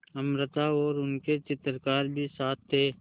अमृता और उसके चित्रकार भी साथ थे